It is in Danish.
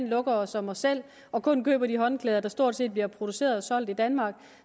lukker os om os selv og kun køber de håndklæder der stort set bliver produceret og solgt i danmark